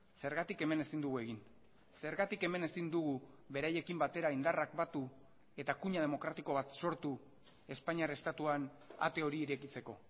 zergatik hemen ezin dugu egin zergatik hemen ezin dugu beraiekin batera indarrak batu eta kuña demokratiko bat sortu espainiar estatuan ate hori irekitzeko